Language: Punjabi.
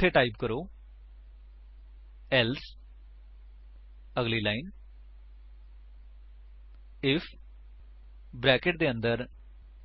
ਸੋ ਇੱਥੇ ਟਾਈਪ ਕਰੋ ਏਲਸੇ ਅਗਲੀ ਲਾਈਨ ਆਈਐਫ ਬਰੈਕੇਟਸ ਦੇ ਅੰਦਰ